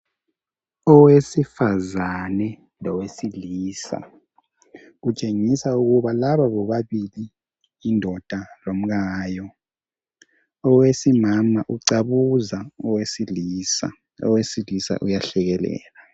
Owesifazana Lowesilisa okutshengisa ukuba laba bobabili yindoda lomkayo owesimama ucabuza owesilisa. Owesilisa uyahlekelela.